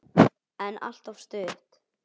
En alltof stutt.